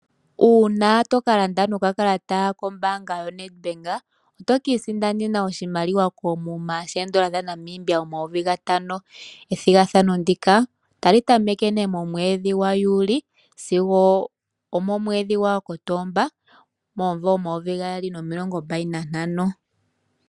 Uuna to ka landa nokakalata kombaanga yoNedbank, oto ka isindanena oshimaliwa koomuma shoodola dhaNamibia omayovi gatano. Ethigathano ndika otali tameke nee momwedhi gwaJuli sigo omomwedhi gwaKotomba momumvo omayovi gaali nomilongo mbali nantano.